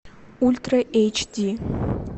ультра эйч ди